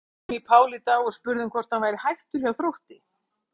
Við hringdum í Pál í dag og spurðum hann hvort hann væri hættur hjá Þrótti?